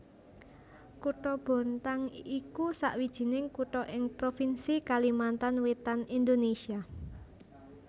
Kutha Bontang iku sawijining kutha ing provinsi Kalimantan Wétan Indonésia